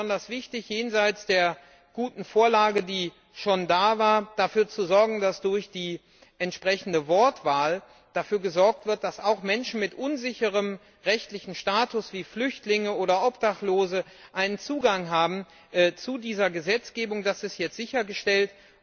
Für uns war besonders wichtig, jenseits der guten Vorlage, die schon da war sicherzustellen, dass durch die entsprechende Wortwahl dafür gesorgt wird, dass auch Menschen mit unsicherem rechtlichem Status wie Flüchtlinge oder Obdachlose einen Zugang zu dieser Gesetzgebung haben das ist jetzt sichergestellt.